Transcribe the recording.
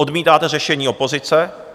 Odmítáte řešení opozice.